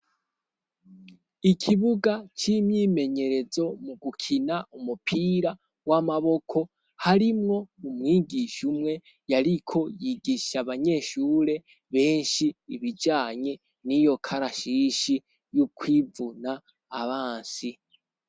Ikiibuga c'imyimenyerezo mu gukina umupira w'amaboko, harimwo umwigisha umwe yariko yigisha abanyeshure benshi ibijanye n'iyo karashishi yo kwivuna abansi.